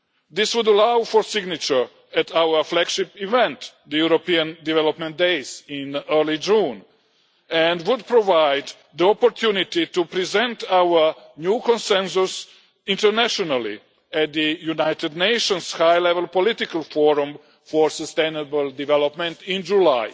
This would allow for signature at our flagship event, the European Development Days in early June, and would provide the opportunity to present our new Consensus internationally at the United Nations High Level Political Forum for Sustainable Development in July.